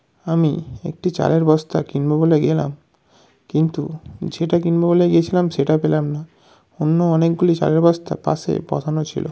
আমি একটি চালের বস্তা কিনবো বলে গেলাম কিন্তু যেটা কিনবো বলে গিয়েছিলাম সেটা পেলাম না । অন্য অনেকগুলি চালের বস্তা পাশে বসানো ছিল।